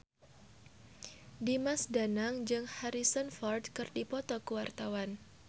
Dimas Danang jeung Harrison Ford keur dipoto ku wartawan